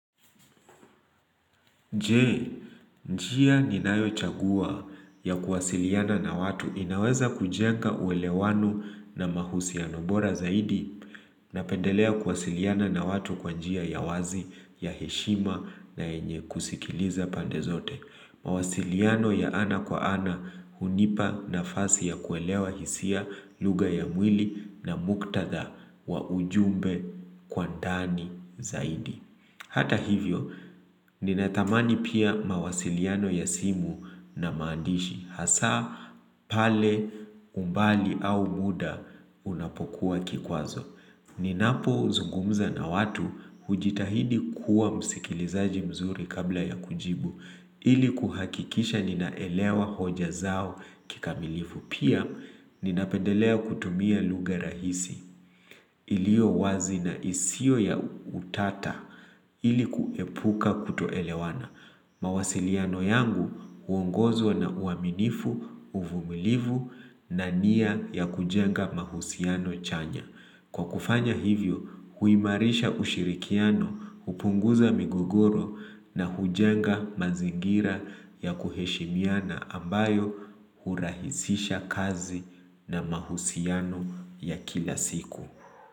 Jee, njia ni nayo chagua ya kuwasiliana na watu inaweza kujenga uelewano na mahusiano bora zaidi na pendelea kuwasiliana na watu kwa njia ya wazi ya heshima na yenye kusikiliza pande zote. Mawasiliano ya ana kwa ana hunipa nafasi ya kuelewa hisia lugha ya mwili na muktatha wa ujumbe kwa ndani zaidi. Hata hivyo, ninatamani pia mawasiliano ya simu na maandishi. Hasa, pale, umbali au muda unapokuwa kikwazo. Ninapo zungumza na watu hujitahidi kuwa msikilizaji mzuri kabla ya kujibu. Ili kuhakikisha ninaelewa hoja zao kikamilifu. Pia, ninapendelea kutumia lugha rahisi. Iliyo wazi na isiyo ya utata ili kuepuka kutoelewana. Mawasiliano yangu uongozo na uaminifu, uvumilivu na nia ya kujenga mahusiano chanya. Kwa kufanya hivyo, huimarisha ushirikiano, upunguza migogoro na hujenga mazingira ya kuheshimiana ambayo hurahisisha kazi na mahusiano ya kila siku.